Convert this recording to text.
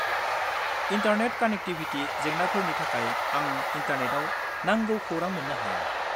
Internet connectivity जेंनाफोरनि थाखाय आं इन्टारनेटाव नांगौ खौरां मोन्नो हाया।